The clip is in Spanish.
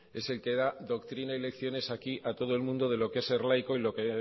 es el que da doctrina y lecciones aquí a todo el mundo de lo que es ser laico y lo que